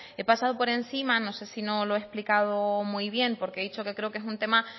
he pasado por encima no sé si no lo he explicado muy bien porque he dicho que creo que es un tema